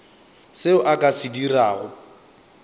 seo a ka se dirago